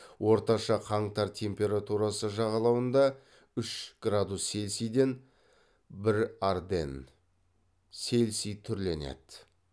орташа қаңтар температурасы жағалауында үш градус цельсийден бір арденн цельсий түрленеді